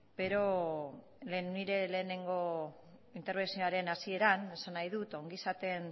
nire lehenengo interbentzioaren hasieran esan nahi dut ongizate